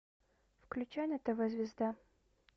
включай на тв звезда